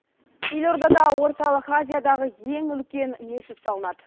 елордада орталық азиядағы ең үлкен мешіт салынады